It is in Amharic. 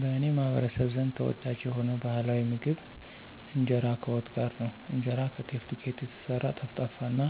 በእኔ ማህበረሰብ ዘንድ ተወዳጅ የሆነው ባህላዊ ምግብ ኢንጄራ ከዋት ጋር ነው። እንጀራ ከጤፍ ዱቄት የተሰራ ጠፍጣፋ እና